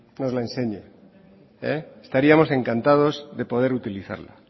nos la enseñe estaríamos encantados de poder utilizarla